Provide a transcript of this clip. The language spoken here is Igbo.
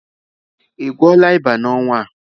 Ị gwọọla ịba n'ọnwa a?